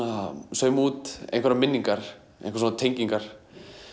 sauma út einhverjar minningar einhverjar tengingar